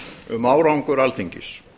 um árangur alþingis